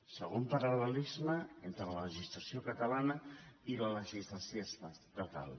segon paral·lelisme entre la legislació catalana i la legislació estatal